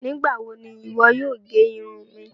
Nígbawo ni iwọ yóò gé irun mi?